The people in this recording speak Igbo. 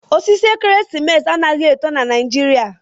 Osisi ekeresimesi anaghi eto na Naijiria.